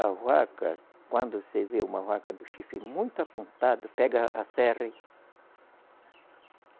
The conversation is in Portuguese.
A vaca, quando você vê uma vaca do chifre muito apontado, pega a serra e